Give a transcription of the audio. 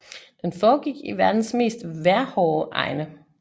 Den foregik i verdens mest vejrhårde egne